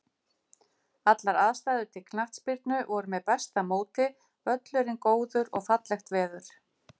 Allar aðstæður til knattspyrnu voru með besta móti, völlurinn góður og fallegt veður.